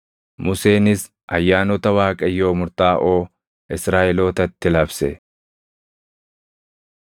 Museenis ayyaanota Waaqayyoo murtaaʼoo Israaʼelootatti labse.